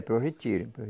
É, para o retiro.